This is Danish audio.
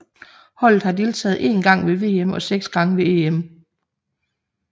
Holdet har deltaget én gang ved VM og seks gange ved EM